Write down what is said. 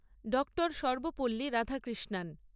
Dr Sarvepalli Radhakrishnan